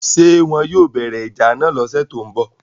ṣé wọn yóò bẹ̀rẹ̀ ìjà náà lọ́sẹ̀ tó ń bọ̀